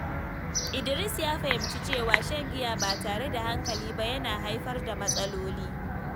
Idris ya fahimci cewa shan giya ba tare da hankali ba yana haifar da matsaloli.